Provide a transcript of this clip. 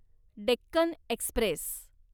Deccan Express